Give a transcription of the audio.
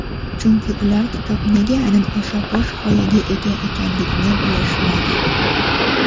chunki ular kitob nega aynan o‘sha bosh g‘oyaga ega ekanligini bilishmaydi.